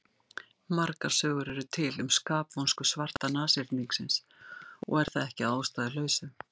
Margar sögur eru til um skapvonsku svarta nashyrningsins og er það ekki að ástæðulausu.